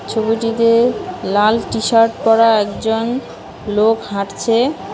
ছবিটিতে লাল টিশার্ট পরা একজন লোক হাঁটছে।